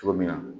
Cogo min na